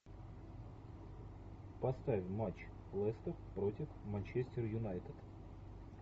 поставь матч лестер против манчестер юнайтед